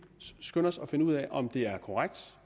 skynde os at finde ud af om det er korrekt